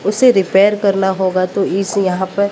उसे रिपेयर करना होगा तो इस यहां पे--